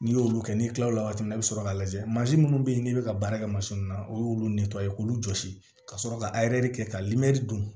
N'i y'olu kɛ n'i kilala o wagati la i bi sɔrɔ k'a lajɛ mansin minnu bɛ yen n'i bɛ ka baara kɛ mansin na o y'olu ye k'olu jɔsi ka sɔrɔ ka kɛ ka dun